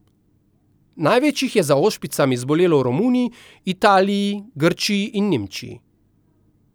Največ jih je za ošpicami zbolelo v Romuniji, Italiji, Grčiji in Nemčiji.